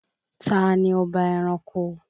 Tani ọba ẹranko?